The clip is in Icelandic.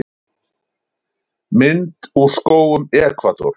Mynd úr skógum Ekvador.